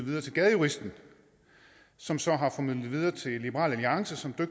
videre til gadejuristen som så har formidlet det videre til liberal alliance som på